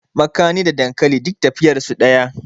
makani da dankali duk tafiyar su daya